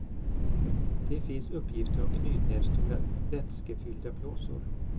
Det finns uppgifter om knytnävsstora vätskefyllda blåsor.